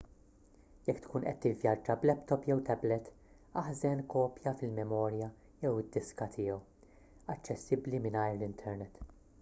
jekk tkun qed tivvjaġġa b’laptop jew tablet aħżen kopja fil-memorja jew id-diska tiegħu aċċessibbli mingħajr l-internet